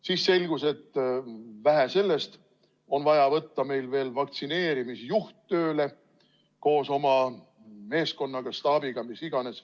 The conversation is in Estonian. Siis selgus, et vähe sellest, on vaja võtta veel vaktsineerimisjuht tööle koos oma meeskonnaga või staabiga, mis iganes.